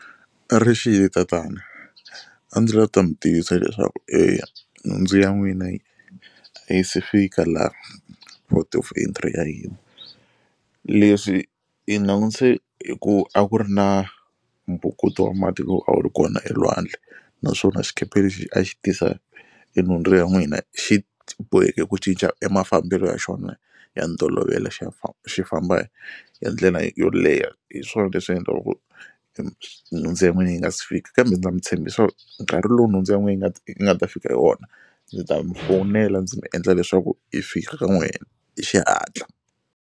A rixile tatana a ndzi la ta mi tivisa leswaku eya nhundzu ya n'wina a yi se fika laha of entry ya hina. Leswi hi langutise hi ku a ku ri na mbhukuto wa mati lowu a wu ri kona elwandle naswona xikepe lexi a xi tisa e nhundzu ya n'wina xi boheke ku cinca e mafambelo ya xona ya ntolovelo xi xi famba hi ndlela yo leha hi swona leswi endlaka ku nhundzu ya n'wina yi nga si fika. Kambe ndza mi tshembisa nkarhi lowu nhundzu ya n'wina yi nga yi nga ta fika hi wona ndzi ta mi fonela ndzi mi endla leswaku i fika ka n'wehe hi xihatla.